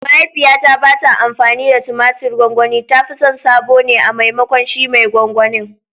Mahaifiyata ba ta amfani da tumatir gwangwani, ta fi son sabo ne a maimakon shi mai gwangwanin.